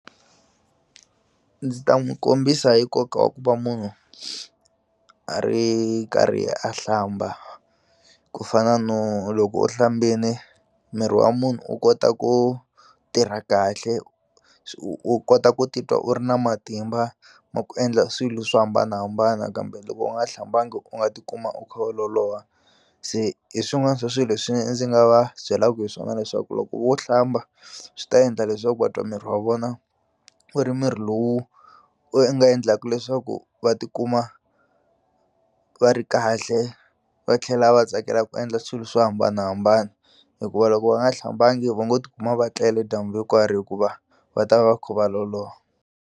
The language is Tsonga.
Ndzi ta n'wu kombisa hi nkoka wa ku va munhu a ri karhi a hlamba ku fana no loko u hlambini miri wa munhu u kota ku tirha kahle u kota ku titwa u ri na matimba ma ku endla swilo swo hambanahambana kambe loko u nga hlambangi u nga tikuma u kha u loloha se hi swin'wana swa swi leswi ndzi nga va byelaku hi swona leswaku loko wo hlamba swi ta endla leswaku va twa miri wa vona wu ri mirhi lowu u nga endlaku leswaku va tikuma va ri kahle va tlhela va tsakela ku endla swilo swo hambanahambana hikuva loko va nga hlambangi va ngo ti kuma va tlele dyambu hinkwaro hikuva va ta va kha va loloha.